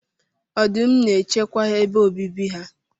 Ọdụm n'echekwa ebe obibi ha.